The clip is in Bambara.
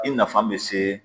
I nafa be se